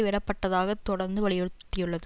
விடப்படத்தாக தொடர்ந்து வலியுறுத்தியுள்ளது